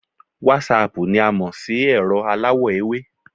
Wásaàpù ni a mò sí ẹ̀rọ aláwọ̀ ewé